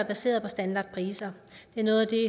baseret på standardpriser det er noget af det